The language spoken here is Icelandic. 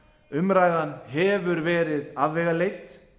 umræðan hefur verið afvegaleidd